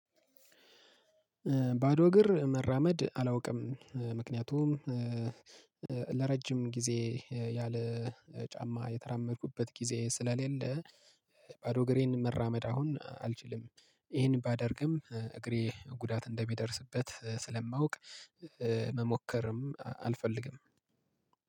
ባዶ እግር መራመድ አላውቅም። ምክንያቱም ለረጅም ጊዜ ያለ ጫማ የተራመድኩበት ጊዜ ስለሌለ። ባዶ ግሬን መራመድ አሁን አልችልም። ይሄን ባደርግም እግሬ ጉዳት እንደሚደርስበት ስለማውቅ። መሞከርም አልፈልግም።